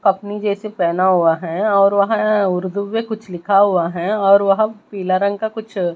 अपनी जैसे पेहना हुआ हैं और वहां उर्दू में कुछ लिखा हुआ हैं और वह पीला रंग का कुछ--